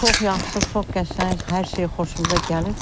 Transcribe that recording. Çox yaxşı, çox qəşəng, hər şey xoşumuza gəlir.